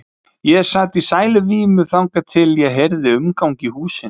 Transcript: Ég sat í sæluvímu þangað til ég heyrði umgang í húsinu.